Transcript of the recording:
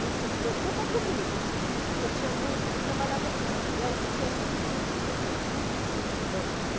Não se preocupa comigo, porque tinha muito... Eu trabalhava num pavilhão que tinha muito menino pequeno, né?